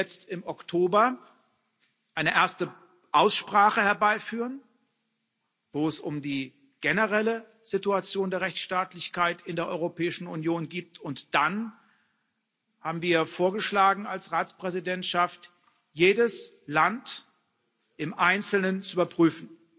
Wir werden jetzt im Oktober eine erste Aussprache herbeiführen, wo es um die generelle Situation der Rechtsstaatlichkeit in der Europäischen Union geht, und wir als Ratspräsidentschaft haben dann vorgeschlagen, jedes Land im Einzelnen zu überprüfen.